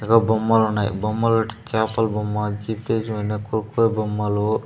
అగో బొమ్మలు ఉన్నాయి బొమ్మలు ఓటి చాపల బొమ్మ బొమ్మలు.